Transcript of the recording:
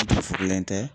tɛ